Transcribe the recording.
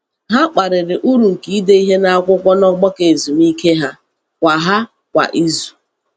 Ha kparịrị uru nke ide ihe n’akwụkwọ n’ọgbakọ ezumike ha kwa ha kwa izu.